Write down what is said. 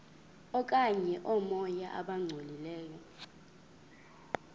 okanye oomoya abangcolileyo